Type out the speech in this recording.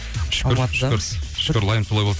шүкір шүкір шүкір лайым солай болсын